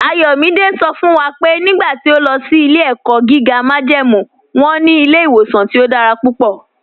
Ayọ̀mídẹ̀ sọ fún wa pé nígbà tí ọ̀ lọ sí ilẹ̀-ẹ̀kọ́ gígá májẹ́mú wọn ní ilẹ̀-ìwọ̀sàn tí ọ̀ dára púpọ̀.